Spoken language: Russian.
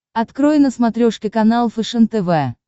открой на смотрешке канал фэшен тв